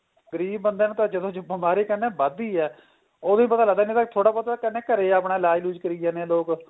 ਗਰੀਬ ਬੰਦੇ ਨੂੰ ਬੀਮਾਰੀ ਕਹਿੰਦੇ ਵੱਧਦੀ ਏ ਉਦੋ ਹੀ ਪਤਾ ਲੱਗਦਾ ਕਹਿਨੇ ਥੋੜਾ ਬਹੁਤਾ ਤਾਂ ਕਹਿੰਦੇ ਘਰੇ ਆਪਣਾ ਇਲਾਜ ਇਲੁਜ ਕਰੀ ਜਾਂਦੇ ਏ ਲੋਕ